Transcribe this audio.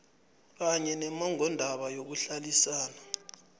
kanye nommongondaba yokuhlalisana